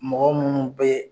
Mɔgɔ minnu bɛ